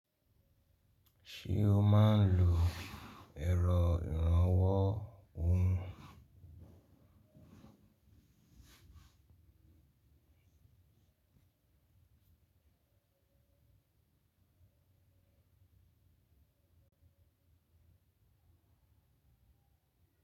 Ṣé o máa ń lo ẹ̀rọ ìrànwọ́ òún?